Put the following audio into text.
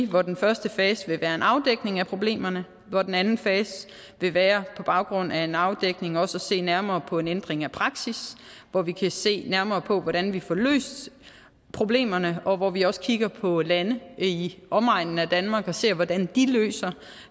hvor den første fase vil være en afdækning af problemerne hvor den anden fase vil være på baggrund af en afdækning også at se nærmere på en ændring af praksis hvor vi kan se nærmere på hvordan vi får løst problemerne og hvor vi også kigger på lande i omegnen af danmark og ser på hvordan de løser